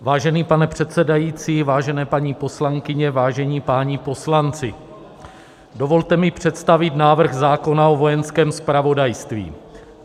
Vážený pane předsedající, vážené paní poslankyně, vážení páni poslanci, dovolte mi představit návrh zákona o Vojenském zpravodajství.